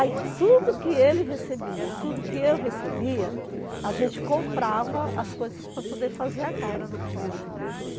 Aí tudo que ele recebia e tudo que eu recebia, a gente comprava as coisas para poder fazer a casa.